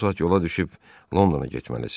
Bu saat yola düşüb Londona getməlisiz.